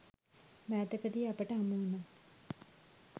මෑතකදී අපට හමුවුණා